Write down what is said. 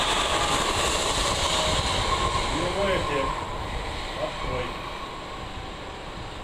нулевой эффект открой